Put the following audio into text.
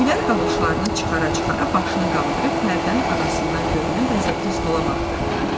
Güllər qaloşlarını çıxara-çıxara başını qaldırıb pərdənin arasından görünən bəzəkli stola baxdı.